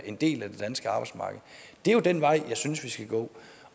en del af det danske arbejdsmarked det er jo den vej jeg synes vi skal gå